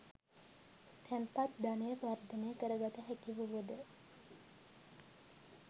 තැන්පත් ධනය වර්ධනය කරගත හැකි වුවද